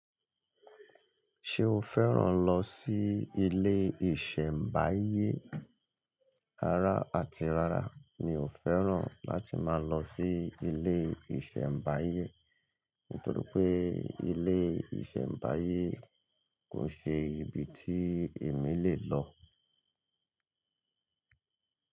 Ṣé o fẹ́ràn lọ sí ilé ìṣẹ̀mbáyé? Rara àti rara mi ò fẹ́ràn láti máa lọ sí ilé ìṣẹ̀mbáyé. Nítorí pé ilé ìṣẹ̀mbáyé kò ṣe ibi tí èmi lè lọ.